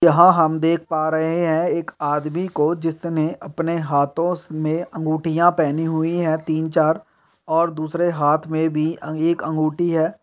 यहाॅं हम देख पा रहे हैं एक आदमी को जिसने अपने हाथों से में अंगूठियाॅं पहनी हुई हैं तीन चार और दूसरे हाथ में भी एक अँगूठी है।